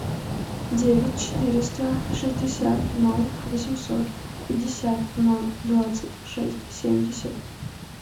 девять четыреста шестьдесят ноль восемьсот пятьдесят ноль двадцать шесть семьдесят